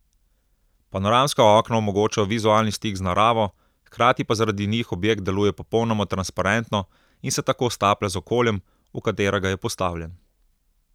Panoramska okna omogočajo vizualni stik z naravo, hkrati pa zaradi njih objekt deluje popolnoma transparentno in se tako staplja z okoljem, v katerega je postavljen.